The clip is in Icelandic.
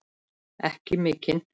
Ekki mikinn.